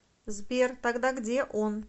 сбер тогда где он